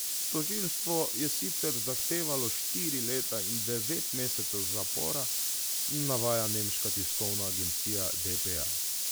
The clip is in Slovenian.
Tožilstvo je sicer zahtevalo štiri leta in devet mesecev zapora, navaja nemška tiskovna agencija dpa.